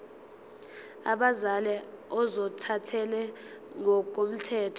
abazali ozothathele ngokomthetho